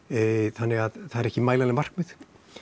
þannig að það eru ekki mælanleg markmið